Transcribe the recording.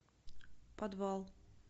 подвал